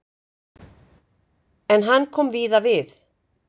En hann kom víða við.